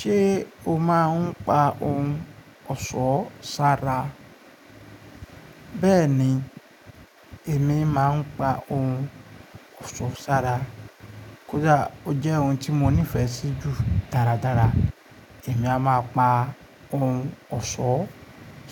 Ṣé o máa ń pa ohun ọ̀ṣọ́ ṣára? Bẹ́ẹ̀ni, èmi máa ń pa ohun ọ̀ṣọ́ ṣára. Kódà ó jẹ́ ohun tí mo nífẹ̀ẹ́ sí jù dáradára, èmi a máa pa ohun ọ̀ṣọ́